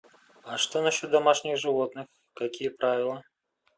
а что насчет домашних животных какие правила